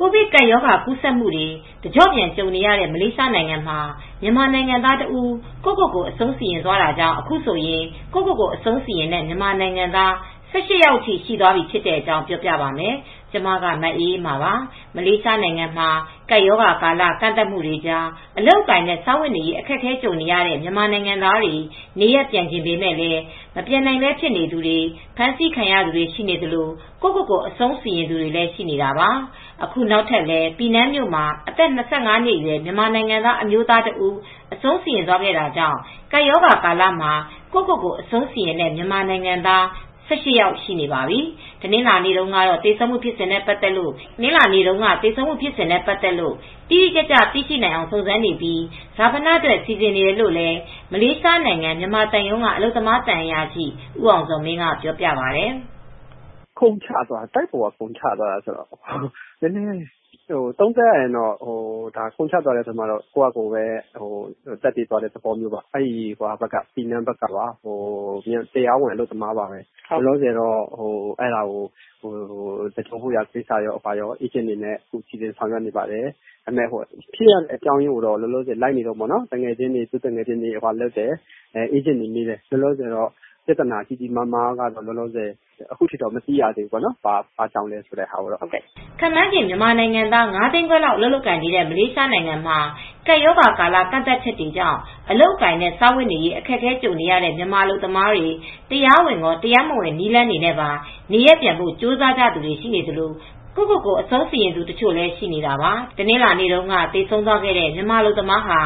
ကိုဗစ်ကပ်ရောဂါ ကူးစက်မှုတွေ တကျော့ပြန် ကြုံနေတဲ့ မလေးရှားနိုင်ငံမှာ မြန်မာနိုင်ငံသားတဦး ကိုယ့်ကိုယ်ကို အဆုံးစီရင်သွားတာကြောင့် အခုဆိုရင် ကိုယ့်ကိုယ်ကိုအဆုံးစီရင်တဲ့ မြန်မာနိုင်ငံသား ၁၈ ယောက်အထိ ရှိသွားပြီ ဖြစ်တဲ့အကြောင်း ပြောပြပါမယ်။ ဗွီအိုအေမြန်မာပိုင်းသတင်းထောက် မအေးအေးမာက ပြောပြပေးပါမယ်။ မလေးရှားနိုင်ငံမှာ ကပ်ရောဂါကာလ ကန့်သတ်မှုတွေကြား အလုပ်အကိုင်နဲ့ စားဝတ်နေရေး အခက်အခဲကြုံနေရတဲ့ မြန်မာနိုင်ငံသားတွေ နေရပ်ပြန်ချင်ပေမဲ့ မပြန်နိုင်ဘဲ ဖြစ်နေသူတွေ၊ ဖမ်းဆီးခံရသူတွေ ရှိနေသလို ကိုယ့်ကိုယ်ကို အဆုံးစီရင်သူတွေလည်း ရှိနေတာပါ။ အခုနောက်ထပ်လည်း ပီနန်မြို့မှာ အသက် ၂၅ နှစ်အရွယ် မြန်မာနိုင်ငံသား အမျိုးသားတဦး အဆုံးစီရင်သွားတာကြောင့် ကပ်ရောဂါကာလမှာ ကိုယ့်ကိုယ်ကို အဆုံးစီရင်သွားတဲ့ မြန်မာနိုင်ငံသား ၁၈ ယောက် ရှိနေပါပြီ။ တနင်္လာနေ့တုန်းက သေဆုံးမှုဖြစ်စဉ်နဲ့ ပတ်သက်လို့ တိတိကျကျ သိနိုင်အောင် စုံစမ်းနေပြီး၊ ဈာပနအတွက် စီစဉ်နေတယ်လို့လည်း မလေးရှားနိုင်ငံဆိုင်ရာ မြန်မာသံရုံးက အလုပ်သမားသံအရာရှိ ဦးအောင်ဇော်မင်းကပြောပါတယ်။ "ခုန်ချသွားတာပဲ တိုက်ပေါ်က ခုန်ချသွားတာပဲ သုံးသပ်ရရင်တော့ ကိုယ့်ဘာ့သာသတ်သေသွားတဲ့သဘောပေါ့။ ပီနန်းဘက်ကပါ တရားဝင်အလုပ်သမားပါပဲ။ လောလောဆယ် သဂြိုၤလ်ဖို့ လုပ်တဲ့ကိစ္စကို စီစဉ်နေတုန်းပါပဲ။ လောလောဆယ် ဖြစ်တဲ့ပြဿနာကိုတော့ လိုက်နေတုန်းပဲ အဲဒီဘက်ကသူသူငယ်ချင်းတွေကိုတော့ စုံစမ်းနေတုန်းပါပဲ။ ဘာကြောင့်ဖြစ်တယ်လိုဆိုတာကိုပေါ့။" ခန့်မှန်းခြေ မြန်မာနိုင်ငံသား ၅၅၀,၀၀၀ လောက် အလုပ်လုပ်ကိုင်နေတဲ့ မလေးရှားနိုင်ငံမှာ ကပ်ရောဂါကာလ ကန့်သတ်ချက်တွေကြောင့် အလုပ်အကိုင်နဲ့ စားဝတ်နေရေး အခက်အခဲ ကြုံနေကြရတဲ့ မြန်မာအလုပ်သမားတွေ တရားဝင်ရော၊ တရားမဝင် နည်းလမ်းတွေနဲ့ပါ နေရပ်ပြန်ဖို့ ကြိုးစားသူတွေ ရှိနေသလို ကိုယ့်ကိုယ်ကို အဆုံးစီရင်သူတချို့လည်း ရှိနေတာပါ။ တနင်္လာနေ့တုန်းက သေဆုံးသွားတဲ့ မြန်မာအလုပ်သမားဟာ